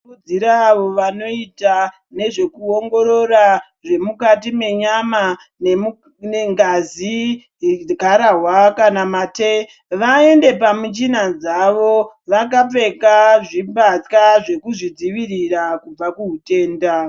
Tinokurudzira avo vanoita nezvekuongorora zvemukati menyama nengazi, garahwa kana mate vaende pamichina dzavo vakapfeka zvimbatya zvekuzvidzivirira kubva kuhutenda.